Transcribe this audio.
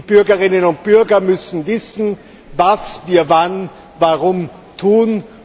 Die Bürgerinnen und Bürger müssen wissen, was wir wann warum tun.